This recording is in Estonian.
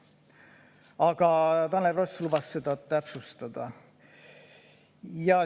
Aga Tanel Ross lubas seda täpsustada.